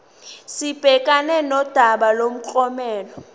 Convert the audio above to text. sibhekane nodaba lomklomelo